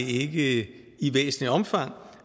i væsentligt omfang